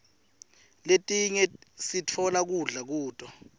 letinye sitfola kudla kuto